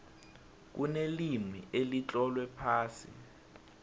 kunelimi elitlolwe phasi